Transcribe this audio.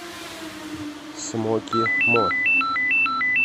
смоки мо